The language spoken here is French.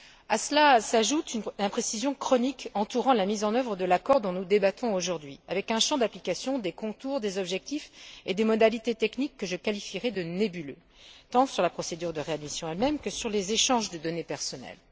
À cela s'ajoute une imprécision chronique entourant la mise en œuvre de l'accord dont nous débattons aujourd'hui, avec un champ d'application, des contours, des objectifs et des modalités techniques que je qualifierais de nébuleux, tant sur la procédure de réadmission elle même que sur les échanges de données personnelles.